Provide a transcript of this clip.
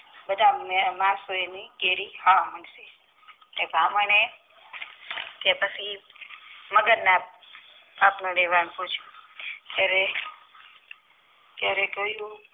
બધા મે કેરી હા તે બ્રાહ્મણ એ મગજ ના દેવાને પુચિયું ત્યારે ત્યારે કોઈ